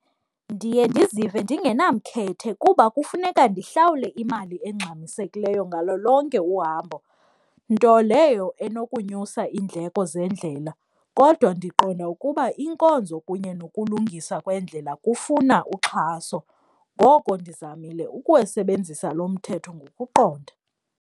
Ndiye ndizive ndingenamkhethe kuba kufuneka ndihlawule imali engxamisekileyo ngalo lonke uhambo, nto leyo enokunyusa iindleko zendlela kodwa ndiqonda ukuba iinkonzo kunye nokulungiswa kweendlela kufuna uxhaso. Ngoko ndizamile ukuwusebenzisa lo mthetho ngokuqonda.